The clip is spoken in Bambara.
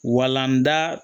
Walanda